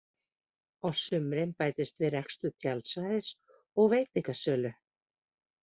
Á sumrin bætist við rekstur tjaldsvæðis og veitingasölu.